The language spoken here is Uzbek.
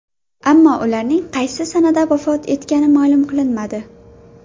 Ammo ularning qaysi sanada vafot etgani ma’lum qilinmadi.